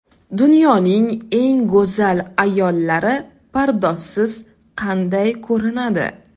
Dunyoning eng go‘zal ayollari pardozsiz qanday ko‘rinadi?